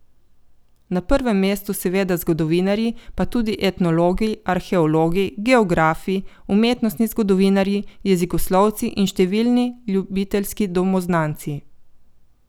Na prvem mestu seveda zgodovinarji, pa tudi etnologi, arheologi, geografi, umetnostni zgodovinarji, jezikoslovci in številni ljubiteljski domoznanci.